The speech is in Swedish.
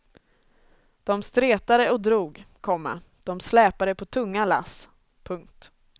De stretade och drog, komma de släpade på tunga lass. punkt